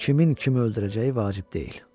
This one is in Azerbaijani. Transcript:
Kimin kimi öldürəcəyi vacib deyil.